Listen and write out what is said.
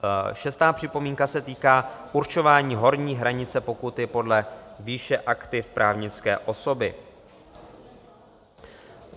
Šestá připomínka se týká určování horní hranice pokuty podle výše aktiv právnické osoby.